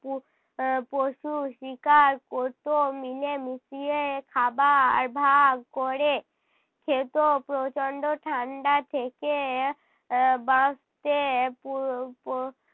আহ পশু শিকার করতো। মিলেমিশিয়ে খাবার ভাগ করে খেত, প্রচণ্ড ঠান্ডা থেকে এর বাঁচতে প~ প~